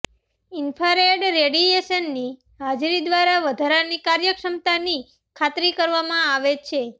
infrared રેડિયેશનની હાજરી દ્વારા વધારાની કાર્યક્ષમતાની ખાતરી કરવામાં આવે છે